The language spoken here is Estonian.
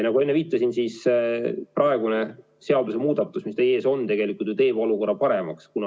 Nagu ma enne viitasin, praegune seadusemuudatus, mis teie ees on, tegelikult ju teeb olukorra paremaks.